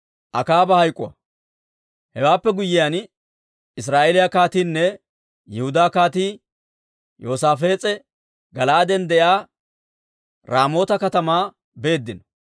Hewaappe guyyiyaan Israa'eeliyaa kaatiinne Yihudaa Kaatii Yoosaafees'e Gala'aaden de'iyaa Raamoota katamaa beeddino.